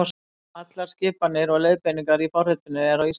Allar skipanir og leiðbeiningar í forritinu eru á íslensku.